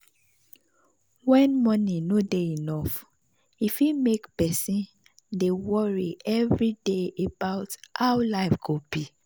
when money no dey enough e fit make person dey worry every day about how life go be.